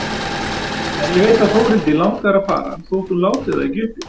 En ég veit að Þórhildi langar að fara þótt hún láti það ekki uppi.